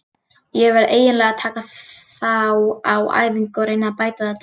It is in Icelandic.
Ég verð eiginlega að taka þá á æfingu og reyna að bæta þetta.